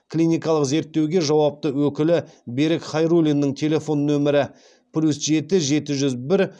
клиникалық зерттеуге жауапты өкілі берік хайруллинің телефон нөмірі плюс жеті жеті жүз бір